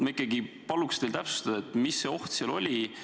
Ma ikkagi paluks teil täpsustada, mis ohtu seal nähakse.